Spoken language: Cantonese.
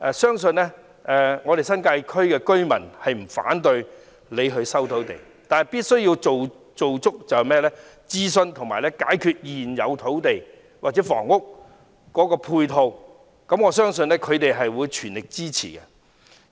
相信新界區的居民不會反對政府收回土地，但必須進行充分的諮詢及解決現有土地或房屋的配套問題，我相信他們會全力支持的。